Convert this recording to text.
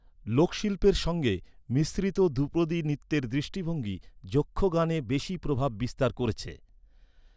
লোকশিল্পের সঙ্গে মিশ্রিত ধ্রুপদী নৃত্যের দৃষ্টিভঙ্গি যক্ষগানে বেশি প্রভাব বিস্তার করেছে।